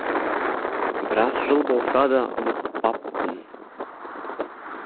біраз жыл болса да ұмытпаппын